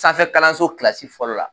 Sanfɛ kalanso kilasi fɔlɔ la.